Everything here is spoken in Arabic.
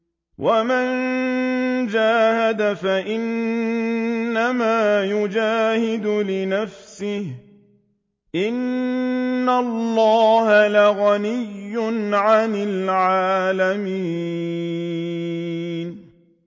وَمَن جَاهَدَ فَإِنَّمَا يُجَاهِدُ لِنَفْسِهِ ۚ إِنَّ اللَّهَ لَغَنِيٌّ عَنِ الْعَالَمِينَ